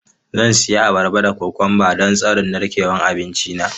Zan ci abarba da kokwamba don tsarin narkewar abinci na.